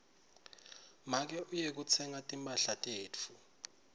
make uye kutsenga timphahla tetfu